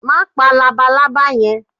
Ma pa lábàlábà yen!